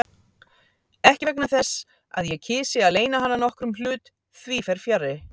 Ekki vegna þess, að ég kysi að leyna hana nokkrum hlut, því fer fjarri.